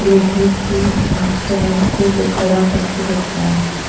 लोहे के स्टैंड वो खड़ा करके रखा है।